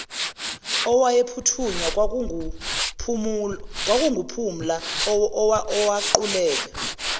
owayephuthunywa kwakunguphumla owaquleka